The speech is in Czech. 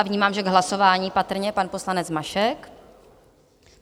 A vnímám, že k hlasování patrně pan poslanec Mašek?